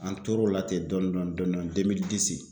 An tor'o la ten dɔɔni dɔɔni dɔɔni